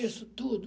Isso, tudo.